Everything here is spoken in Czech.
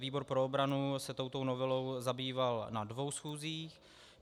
Výbor pro obranu se touto novelou zabýval na dvou schůzích.